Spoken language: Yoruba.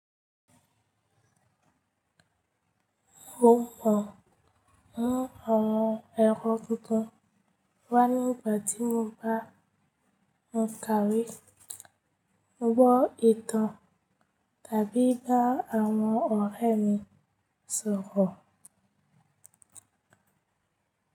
Mo mọ̀ ń àwọn ẹ̀rọ tuntun wá nígbà tí mo bá ń kàwé, ń gbọ́ ìtàn tàbí ba àwọn ọ̀rẹ́ mi sọ̀rọ̀.